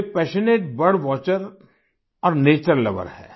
वे passionate bird watcher और nature lover हैं